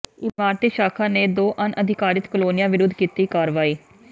ਇਮਾਰਤੀ ਸ਼ਾਖਾ ਨੇ ਦੋ ਅਣਅਧਿਕਾਰਤ ਕਲੋਨੀਆਂ ਵਿਰੁੱਧ ਕੀਤੀ ਕਾਰਵਾਈ